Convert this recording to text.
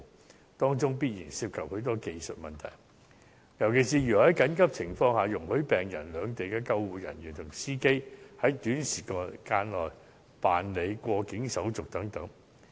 這當中必然涉及許多技術問題，尤其是如何是在緊急情況下容許病人、兩地的救護人員及司機，在短時間內辦理過境手續等。